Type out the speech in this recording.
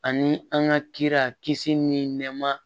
Ani an ka kira kisi ni nɛɛma